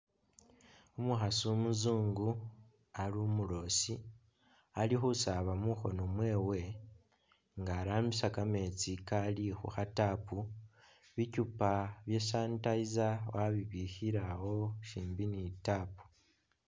Umukhasi umusungu ali umulosi alikhusaba mukhono mwewe nga arambisa kameetsi Kali khukha tap bichupa bya' sanitizer wabibikhile awo shimbi ni'tap